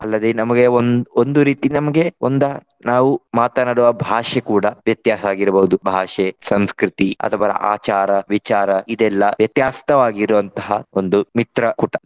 ಅಲ್ಲದೆ ನಮಗೆ ಒಂದ್~ ಒಂದು ರೀತಿ ನಮ್ಗೆ ಒಂದಾ ನಾವು ಮಾತನಾಡುವ ಭಾಷೆ ಕೂಡ ವ್ಯತ್ಯಾಸ ಆಗಿರ್ಬೋದು . ಭಾಷೆ ಸಂಸ್ಕೃತಿ ಅಥವಾ ಆಚಾರ ವಿಚಾರ ಇದೆಲ್ಲಾ ವ್ಯತ್ಯಸ್ತವಾಗಿರುವಂತಹ ಒಂದು ಮಿತ್ರಕೂಟ.